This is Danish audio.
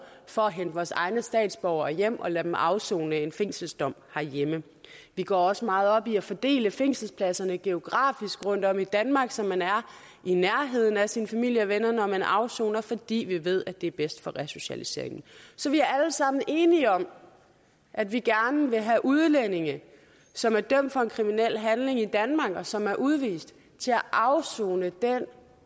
for at hente vores egne statsborgere hjem og lade dem afsone en fængselsdom herhjemme vi går også meget op i at fordele fængselspladserne geografisk rundtom i danmark så man er i nærheden af sin familie og venner når man afsoner fordi vi ved at det er bedst for resocialiseringen så vi er alle sammen enige om at vi gerne vil have udlændinge som er dømt for en kriminel handling i danmark og som er udvist til at afsone den